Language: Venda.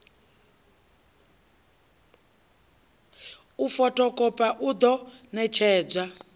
u fothokhopha a ḓo ṋetshedzwa